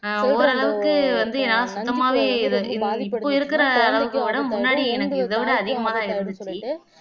ஆஹ் ஓரளவுக்கு வந்து என்னால சுத்தமாவே இப்ப இன் இருக்குற அளவுக்கு உடம்பு முன்னாடி எனக்கு இதை விட அதிகமாதான் இருந்ததுச்சு